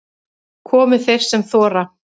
Komi þeir sem þora